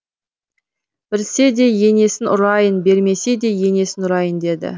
берсе де енесін ұрайын бермесе де енесін ұрайын деді